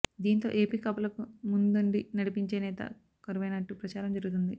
దీంతో ఏపి కాపులకు ముందుండి నడిపించే నేత కరువైనట్టు ప్రచారం జరుగుతోంది